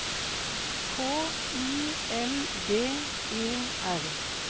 K I L D E R